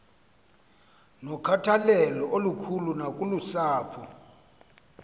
nokhathalelo olukhulu nakusapho